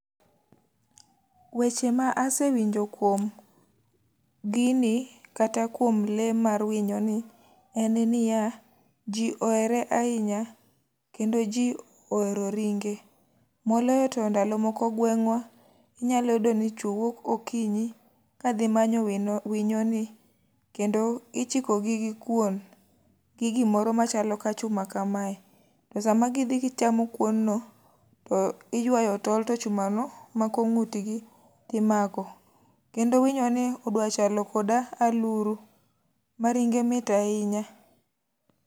Weche ma asewinjo kuom gini, kata kuom le mar winyo ni en niya ji ohere ahinya, kendo ji ohero ringe. Moloyo to ndalo moko gweng'wa, ninyalo yudo ni chwo wuok okinyi ka dhi manyo winyo ni, kendo ichiko gi gi kuon, gi gimoro machalo ka chuma kamae. To sama gidhi gichamo kuon no, to iywayo tol, to chuma no mako ngútgi, ti mako. Kendo winyo ni odwa chalo koda aluru, ma ringe mit ahinya.